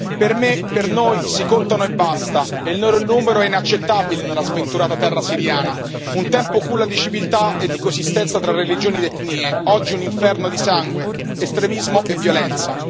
Per me, per noi, si contano e basta, e il loro numero è inaccettabile nella sventurata terra siriana, un tempo culla di civiltà e di coesistenza tra religioni ed etnie, oggi un inferno di sangue, estremismo e violenza.